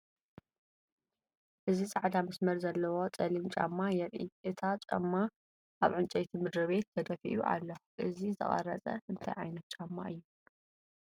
እዚ ጻዕዳ መስመር ዘለዎ ጸሊም ጫማ የርኢ። እቲ ጫማ ኣብ ዕንጨይቲ ምድሪ ቤት ተደፊኡ ኣሎ። እዚ ዝተቐርጸ እንታይ ዓይነት ጫማ እዩ?